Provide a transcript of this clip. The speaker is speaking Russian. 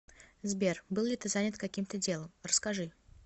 сбер был ли ты занят каким то делом расскажи